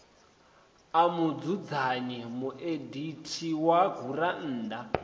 a mudzudzanyi mueditha wa gurannḓa